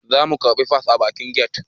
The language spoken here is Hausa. Za mu karbi fas a bakin get